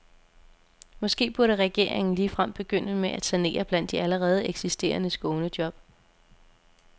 Måske burde regeringen ligefrem begynde med at sanere blandt de allerede eksisterende skånejob.